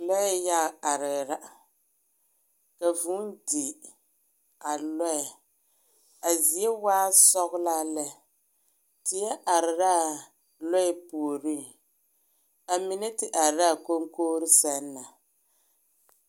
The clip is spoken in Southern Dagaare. Lɔɛ yaga arɛɛ la, ka vũũ di, a lɔɛ. A zie waa sɔglaa lɛ. Teɛ are la lɔɛ puoriŋ. A mine te are laa koŋkogri sɛŋ na.